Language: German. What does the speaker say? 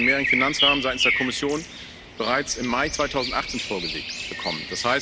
Wir haben den Mehrjährigen Finanzrahmen seitens der Kommission bereits im Mai 2018 vorgelegt bekommen.